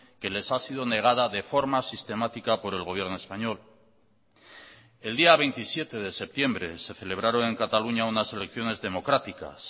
que les ha sido negada de forma sistemática por el gobierno español el día veintisiete de septiembre se celebraron en cataluña unas elecciones democráticas